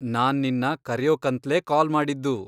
ನಾನ್ ನಿನ್ನ ಕರ್ಯೋಕಂತ್ಲೇ ಕಾಲ್ ಮಾಡಿದ್ದು.